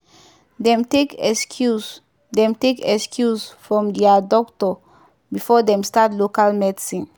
dem take excuse dem take excuse from dia doctor before dem start local medicine.